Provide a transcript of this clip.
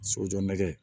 Sojɔ nɛgɛ